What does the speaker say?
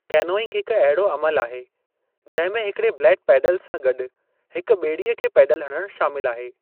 Canoeing हिकु अहिड़ो अमलु आहे जंहिं में हिकड़े ब्लेड पैडल सां गॾु हिकु बे॒ड़ीअ खे पैडल हणणु शामिलु आहे।